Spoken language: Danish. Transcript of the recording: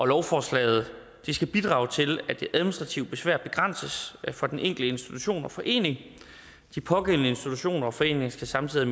lovforslaget skal bidrage til at det administrative besvær begrænses for den enkelte institution og forening de pågældende institutioner og foreninger skal samtidig